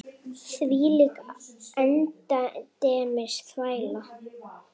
Þvílík endemis þvæla.